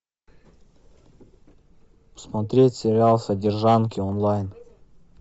смотреть сериал содержанки онлайн